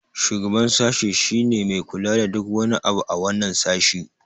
shugaban sashi shi ne Mai kula da duk wani abu a wannan sashi